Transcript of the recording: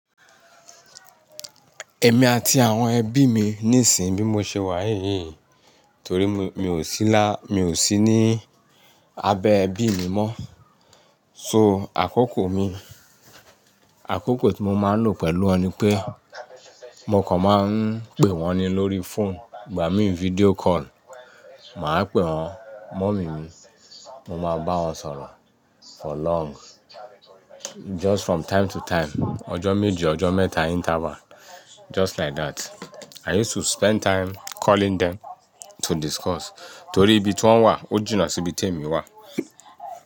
Ẹ̀mí àti àwọn ẹbí mi níìsín bí mo ṣe wà yìí, torí mi, mi ò sí lá, mi ò sí ní abẹ́ ẹbí mi mọ́. So àkókò mi, àkókò tí mo máa ń lò pẹ̀lú wọn ni pé mo kàn máa ń pè wọ́n ni lórí phone. Ìgbà mí video call, mà á pè wọ́n, mummy mi, mo máa bá wọn sọ̀rọ̀ for long. Just from time to time, ọjọ́ méje, ọjọ́ mẹ́ta interval. Just like that. I used to spend time calling them to discuss torí ibi tí wọ́n wà, ó jìnà sí ibi tí èmi wà.